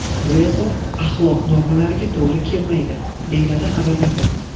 Bu esa axloq normalariga to‘g‘ri kelmaydi, deyiladi xabarda.